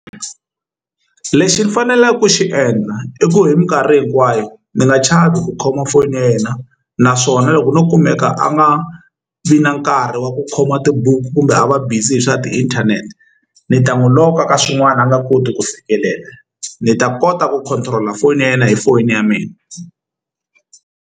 Lexi ni faneleke ku xi endla i ku hi minkarhi hinkwayo ni nga chavi ku khoma foyini ya yena naswona loko no kumeka a nga vi na nkarhi wa ku khomiwa tibuku kumbe a va busy hi swa tiinthanete ni ta n'wi lock-a ka swin'wana a nga koti ku fikelela ni ta kota ku control-a foni ya yena hi foni ya mina.